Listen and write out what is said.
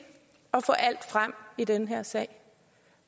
at få alt frem i den her sag